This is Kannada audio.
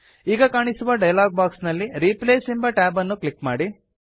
ಈಗ ಕಾಣಿಸುವ ಡಯಲಾಗ್ ಬಾಕ್ಸ್ ನಲ್ಲಿ ರಿಪ್ಲೇಸ್ ಎಂಬ ಟ್ಯಾಬ್ ಅನ್ನು ಕ್ಲಿಕ್ ಮಾಡಿ